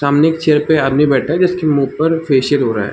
सामने की चेयर पर आदमी बैठा है उसके मुँह पर फेसिअल हो रहा है।